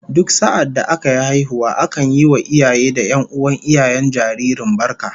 Duk sa'adda aka yi haihuwa akan yi wa iyaye da 'yan'uwan iyayen jaririn barka